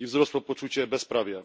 i wzrosło poczucie bezprawia.